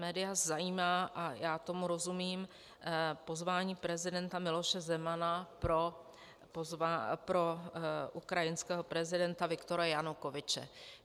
Média zajímá, a já tomu rozumím, pozvání prezidenta Miloše Zemana pro ukrajinského prezidenta Viktora Janukovyče.